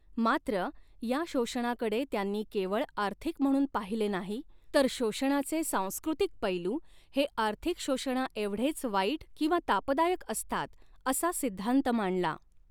मात्र, या शोषणाकडे त्यांनी केवळ आर्थिक म्हणून पाहिले नाही, तर शोषणाचे सांस्कृतिक पैलू हे आर्थिक शोषणाएवढेच वाईट किंवा तापदायक असतात असा सिद्धान्त मांडला.